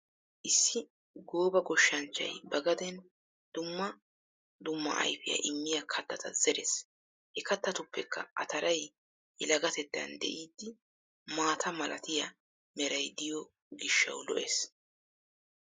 Issi gooba goshshanchchay ba gadeen dumma dimma ayfiya immiya kattata zerees. He kattatuppekka ataray yelagatettan de'iiddi maata malatiya meray diyo gishshawu lo'ees.